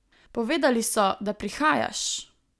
Povedali so, da prihajaš!